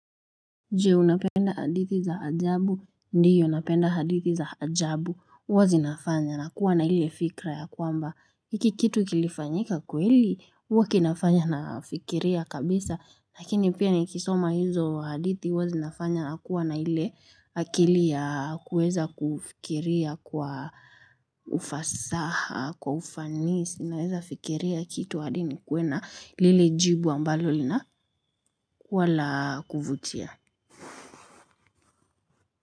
Je unapenda hadithi za ajabu, ndiyo napenda hadithi za ajabu, uwa zinafanya nakuwa na ile fikra ya kwamba, hiki kitu kilifanyika kweli, uwa kinafanya nafikiria kabisa, lakini pia nikisoma hizo hadithi, uwa zinafanya nakuwa na ile, akili ya kuweza kufikiria kwa ufasaha, kwa ufanisi, naweza fikiria kitu hadi nikuwe na, lile jibu ambalo linakuwa la kuvutia.